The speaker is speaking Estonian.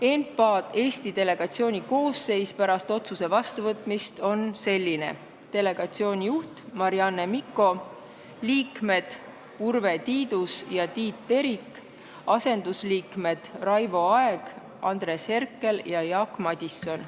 ENPA Eesti delegatsiooni koosseis pärast otsuse vastuvõtmist on selline: delegatsiooni juht Marianne Mikko, liikmed Urve Tiidus ja Tiit Terik, asendusliikmed Raivo Aeg, Andres Herkel ja Jaak Madison.